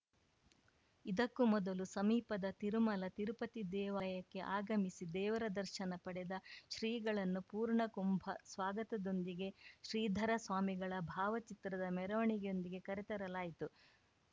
ಇದಕ್ಕೂ ಮೊದಲು ಸಮೀಪದ ತಿರುಮಲ ತಿರುಪತಿ ದೇವಾಯಕ್ಕೆ ಆಗಮಿಸಿ ದೇವರದರ್ಶನ ಪಡೆದ ಶ್ರೀಗಳನ್ನು ಪೂರ್ಣಕುಂಬ ಸ್ವಾಗತದೊಂದಿಗೆ ಶ್ರೀಧರ ಸ್ವಾಮಿಗಳ ಭಾವಚಿತ್ರದ ಮೆರವಣಿಗೆಯೊಂದಿಗೆ ಕರೆತರಲಾಯಿತು